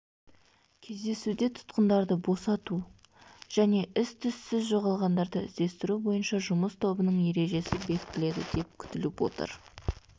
кездесуде тұтқындарды босату және із-түзсіз жоғалғандарды іздестіру бойынша жұмыс тобының ережесі бекітіледі деп күтіліп отыр